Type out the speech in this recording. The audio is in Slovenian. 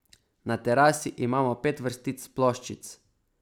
Na terasi imamo pet vrstic ploščic.